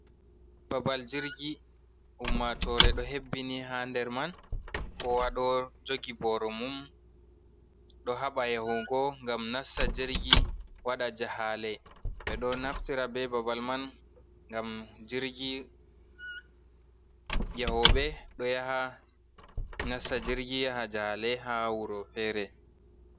Babal jirgi, ummatore ɗo hebbini ha nder man kowa ɗo jogi boro mum ɗo haɓa yahugo, gam nasta jirgi waɗa jahale, ɓe ɗo naftira be babal man ngam jirgi yahoɓe do yaha nasta jirgi yaha jahale ha wuro fere.